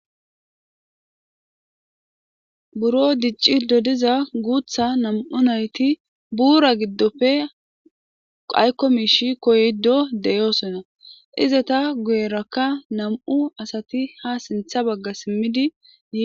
buro diccido diza guutha nam7u nayti buura giddofe qaykomishi koyddo deyoosona iza ta guyerakka nam7u asati ha sintha bagga simmidi